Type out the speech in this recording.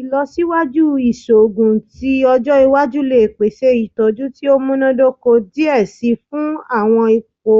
Ilọsiwaju iṣoogun ti ọjọ iwaju le pese itọju ti o munadoko diẹ sii fun awọn ipo